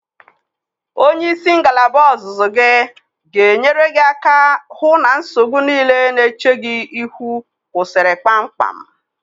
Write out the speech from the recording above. Onye isi ngalaba ọzụzụ gị ga-enyere gị aka hụ na nsogbu niile na-eche gị ihu kwụsịrị kpamkpam.